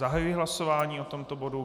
Zahajuji hlasování o tomto bodu.